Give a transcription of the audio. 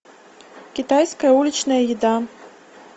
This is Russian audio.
китайская уличная еда